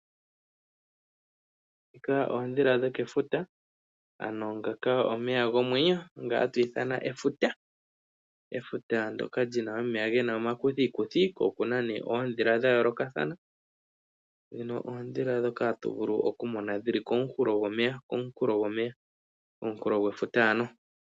Ndhika oodhila dhoke futa, ano ngaka omeya gomwenyo nga hatu ithana efuta, efuta ndyoka lyina omeya gena oma kuthiikuthi ko okuna nee oondhila tha yooloka thana, dhino oondhila dhoka tovulu oku mona dhili komunkulo gwomeya, komunkulo gwefuta ano.